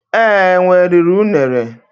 Ee, enwe riri unere